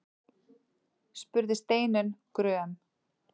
spurði Steinunn gröm.